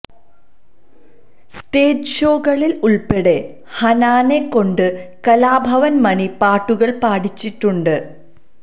stage ഷോകളിൽ ഉൾപ്പെടെ ഹനാനെ കൊണ്ട് കലാഭവൻ മണി പാട്ടുകൾ പാടിച്ചിട്ടുണ്ട്